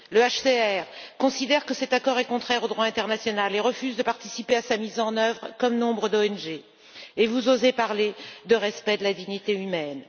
Le HCR considère que cet accord est contraire au droit international et refuse de participer à sa mise en œuvre, comme nombre d'ONG, et vous osez parler de respect de la dignité humaine.